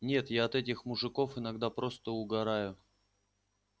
нет я от этих мужиков иногда просто угораю